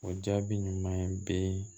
O jaabi ɲuman be